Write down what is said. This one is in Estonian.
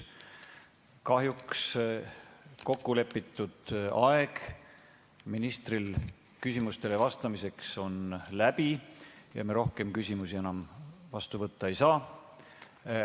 Kahjuks on kokku lepitud aeg ministril küsimustele vastamiseks läbi ja rohkem küsimusi me enam vastu võtta ei saa.